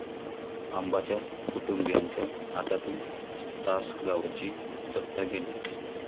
आबांच्या कुटुंबियांच्या हातातून तासगावची सत्ता गेली